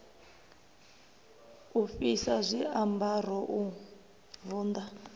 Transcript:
u fhisa zwiambaro u vunḓa